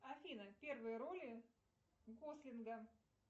афина первые роли гослинга